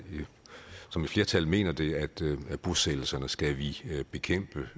som et flertal mener det at bosættelserne skal vi bekæmpe